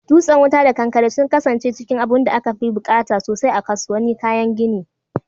Dutsen wuta da kankare sun kasance cikin abunda aka fi buƙata sosai a kasuwannin kayan gini.